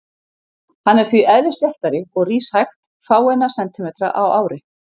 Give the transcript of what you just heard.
Hann er því eðlisléttari og rís hægt, fáeina sentímetra á ári.